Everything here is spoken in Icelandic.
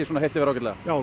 ágætlega já